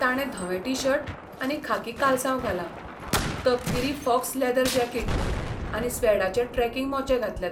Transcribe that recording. ताणें धवें T shirt आनी खाकी कालसांव घालां, तपकिरी फॉक्स लॅदर जाकीट आनी स्वेडाचे ट्रॅकिंग मोचे घातल्यात.